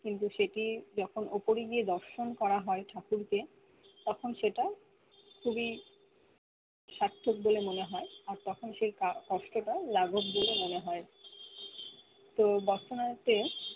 কিন্তু সেটি যখন উপরে গিয়ে দর্শন করা হয় ঠাকুরকে তখন সেটা খুবি সার্থক বলে মনে হয় আর তখন সে কষ্ট টা লাঘব বলে মনে হয় তো তে